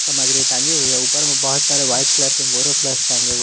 सामग्री टांगी हुई है ऊपर मे बहोत सारे वाइट कलर के बेरोप्लस टांगे हुए--